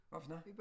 Hvad for noget?